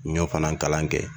N y'o fana kalan kɛ